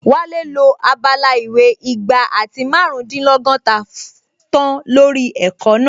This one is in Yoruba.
Wálé lo abala ìwé igba àti márùndínlọ́gọ́ta tán lórí ẹ̀kọ́ náà